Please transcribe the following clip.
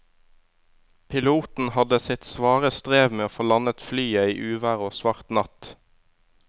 Piloten hadde sitt svare strev med å få landet flyet i uvær og svart natt.